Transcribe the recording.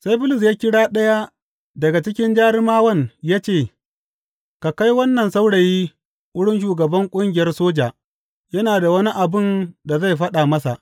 Sai Bulus ya kira ɗaya daga cikin jarumawan ya ce, Ka kai wannan saurayi wurin shugaban ƙungiyar soja; yana da wani abin da zai faɗa masa.